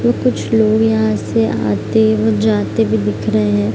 ये कुछ लोग यहाँ से आते-जाते हुए दिख रहे हैं।